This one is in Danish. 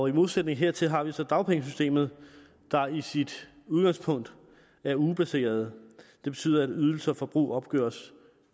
i modsætning hertil har vi så dagpengesystemet der i sit udgangspunkt er ugebaseret det betyder at ydelser og forbrug opgøres